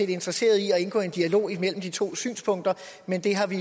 interesserede i at indgå i en dialog mellem de to synspunkter men det har vi